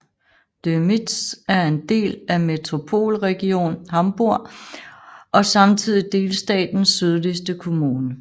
Dömitz er en del af Metropolregion Hamburg og samtidig delstatens sydligste kommune